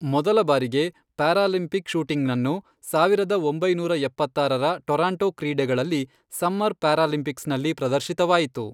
ಮೊದಲ ಬಾರಿಗೆ ಪ್ಯಾರಾಲಿಂಪಿಕ್ ಶೂಟಿಂಗನನ್ನು, ಸಾವಿರದ ಒಂಬೈನೂರ ಎಪ್ಪತ್ತಾರರ ಟೊರಾಂಟೊ ಕ್ರೀಡೆಗಳಲ್ಲಿ ಸಮ್ಮರ್ ಪ್ಯಾರಾಲಿಂಪಿಕ್ಸ್ನಲ್ಲಿ ಪ್ರದರ್ಶಿತವಾಯಿತು.